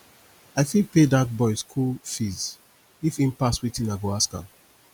i fit pay dat boy school fees if im pass wetin i go ask am